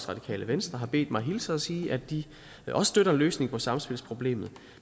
radikale venstre har bedt mig hilse og sige at de også støtter en løsning på samspilsproblemet